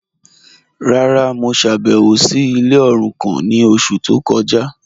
Rárá, mo ṣábẹwò sí ilẹ̀ orúkàn ni ọṣù tó kọja..